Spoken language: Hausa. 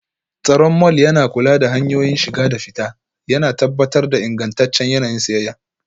Tsaron mall yana kula da hanyoyin shiga da fita, yana tabbatar da ingantaccen yanayin siyayya.